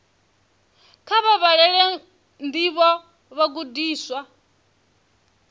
kha vha vhalele ndivho vhagudiswa